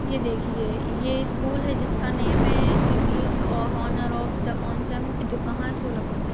ए देखिए ए स्कूल है जिसका नेम है cities a honour of the consent जो कहा है सोलापुर मे।